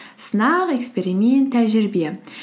сынақ эксперимент тәжірибе